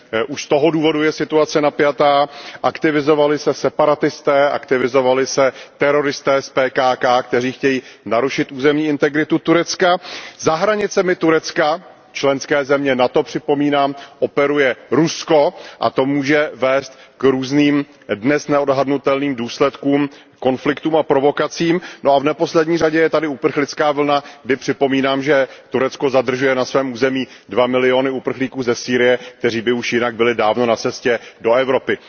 Paní předsedající, Turecko je ve složité situaci, je tam před volbami, takže už z toho důvodu je situace napjatá. Aktivovali se separatisté, aktivovali se teroristé z PKK, kteří chtějí narušit územní integritu Turecka. Za hranicemi Turecka, členské země NATO připomínám, operuje Rusko a to může vést k různým, dnes neodhadnutelným důsledkům, konfliktům a provokacím. V neposlední řadě je tady uprchlická vlna, kdy připomínám, že Turecko zadržuje na svém území dva miliony uprchlíků ze Sýrie, kteří by už jinak byli dávno na cestě do Evropy.